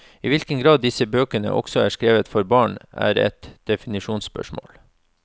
I hvilken grad disse bøkene også er skrevet for barn, er et definisjonsspørsmål.